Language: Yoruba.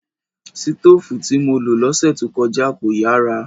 Sitóòfù tí mo lo lọ́sẹ̀ tó kọjá kò yàrà